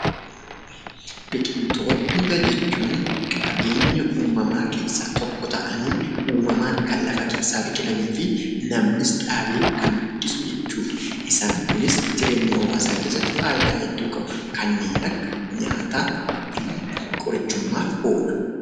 Biqiltoota jechuun qabeenya uumamaa keessaa tokko ta'anii uumamaan kan lafa keessaa biqilanii fi namnis dhaabee kan guddisu jechuu dha. Isaan Kunis jireenya hawwaasaa keessatti faayidaa guddaa qabu. Isaannis kanneen akka nyaataa fi qorichummaaf oola.